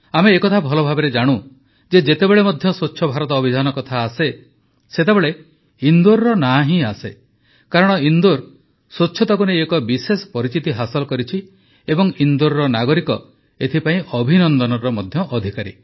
ଆମେ ଏହା ଭଲଭାବେ ଜାଣୁ ଯେ ଯେତେବେଳେ ମଧ୍ୟ ସ୍ୱଚ୍ଛ ଭାରତ ଅଭିଯାନ କଥା ଆସେ ସେତେବେଳେ ଇନ୍ଦୋର ନାଁ ହିଁ ଆସେ କାରଣ ଇନ୍ଦୋର ସ୍ୱଚ୍ଛତାକୁ ନେଇ ଏକ ବିଶେଷ ପରିଚିତି ହାସଲ କରିଛି ଏବଂ ଇନ୍ଦୋରର ନାଗରିକ ଏଥିପାଇଁ ଅଭିନନ୍ଦନର ମଧ୍ୟ ଅଧିକାରୀ